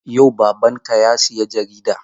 Yau babanka ya sayi jarida?